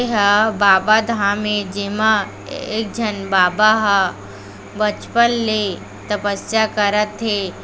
एहा बाबा धाम ए जेमा एक झन बाबा ह बचपन ले तपस्या करा थे।